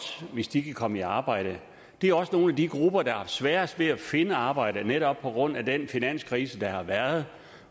hvis de kan komme i arbejde det er også nogle af de grupper der har haft sværest ved at finde arbejde netop på grund af den finanskrise der har været